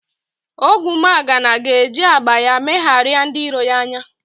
Ogwumagana ga-eji agba ya megharịa ndị iro ya anya